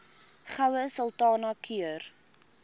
goue sultana keur